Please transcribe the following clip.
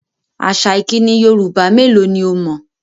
Àṣà ìkíni Yorùbá mélò ni o mọ̀?